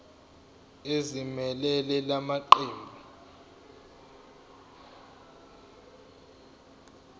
ezimelele la maqembu